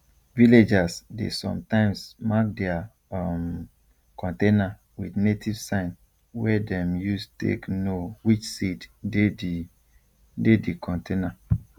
villagers dey sometimes mark their um container with native sign wey dem use take know which seed dey di dey di container